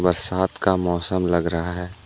बरसात का मौसम लग रहा है।